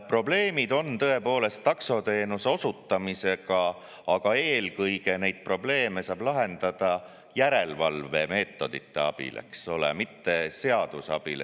Probleemid on tõepoolest taksoteenuse osutamisega, aga eelkõige neid probleeme saab lahendada järelevalvemeetodite abil, mitte seaduse abil.